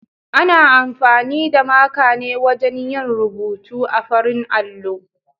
Ana amfani da maka ne wajen yin rubutu a farin allo.